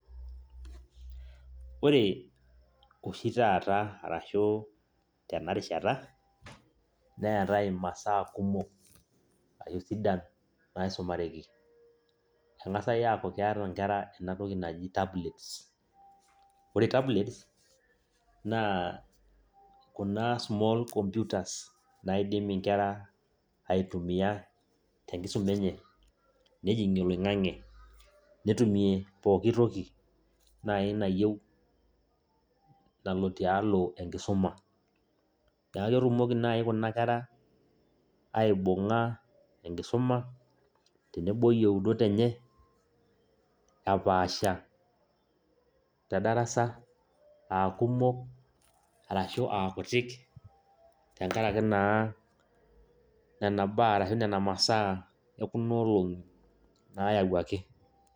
Ore oshi taata arashu tena rishata neetai imasaa kumok ashu sidan naisumareki keng'as aaku keeta nkera ena toki naji tablets, ore tablets naa kuna small computers naaidim nkera aitumiaa tenkisuma enye nejing'ie oloing'ang'e netumie pooki toki naai nayieu nalo tialo enkisuma naa ekitumoki naai kuna kerra aibung'a enkisuma tenebo oyieunot enye naapasha tedara aakumok ashu aakuti tenkaraki nena baa ashu nena masaa ekuna olong'i naayauaki.